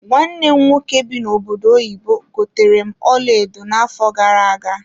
Nwanne m nwoke bi n'obodo oyibo gotere m ọlaedo na-afo gara-aga.